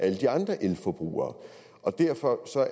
alle de andre elforbrugere derfor